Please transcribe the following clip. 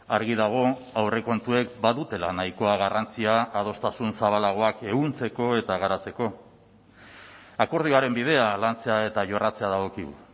argi dago aurrekontuek badutela nahikoa garrantzia adostasun zabalagoak ehuntzeko eta garatzeko akordioaren bidea lantzea eta jorratzea dagokigu